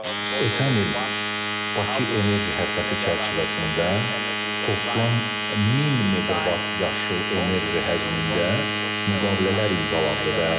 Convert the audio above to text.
Ötən il Bakı enerji həftəsi çərçivəsində toplam 1000 meqavat yaşıl enerji həcmində müqavilələr imzalandı.